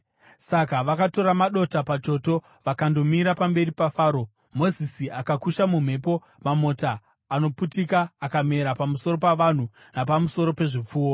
Saka vakatora madota pachoto vakandomira pamberi paFaro. Mozisi akaakusha mumhepo, mamota anoputika akamera pamusoro pavanhu napamusoro pezvipfuwo.